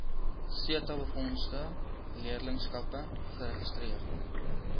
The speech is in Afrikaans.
setabefondse leerlingskappe geregistreer